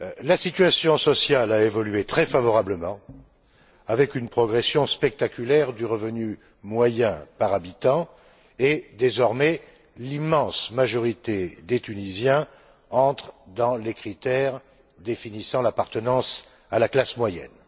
La situation sociale a évolué très favorablement, avec une progression spectaculaire du revenu moyen par habitant et, désormais, l'immense majorité des Tunisiens entrent dans les critères définissant l'appartenance à la classe moyenne.